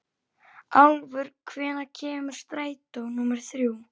Álfur, hvenær kemur strætó númer þrjú?